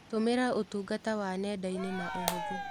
Tũmĩra ũtungata wa nenda-inĩ na ũhũthũ.